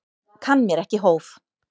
Kann mér ekki hóf.